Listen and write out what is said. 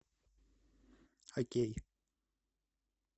окей